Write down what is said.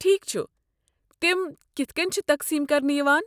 ٹھیک چھُ، تِم کِتھہٕ کٔنۍ چھ تقسیم كرنہٕ یوان؟